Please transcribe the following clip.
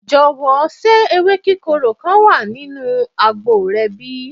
jowo se ewe kikoro kan wa ninu agbo re bi?